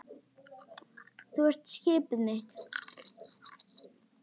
Þú ert skipið mitt.